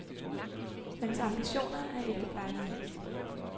Hans ambitioner er ikke blegnet hen.